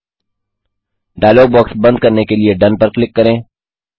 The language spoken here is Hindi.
000622 000426 डायलॉग बॉक्स बंद करने के लिए डोन पर क्लिक करें